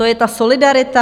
To je ta solidarita?